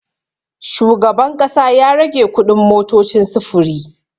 Shugaban ƙasa ya rage kuɗin motocin sufuri.